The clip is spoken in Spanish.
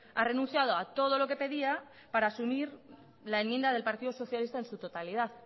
ha renunciado a todo lo que pedía para asumir la enmienda del partido socialista en su totalidad